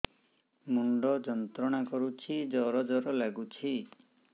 ମୁଣ୍ଡ ଯନ୍ତ୍ରଣା କରୁଛି ଜର ଜର ଲାଗୁଛି